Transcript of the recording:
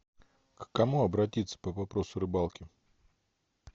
к кому обратиться по вопросу рыбалки